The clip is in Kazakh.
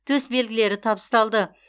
төсбелгілері табысталды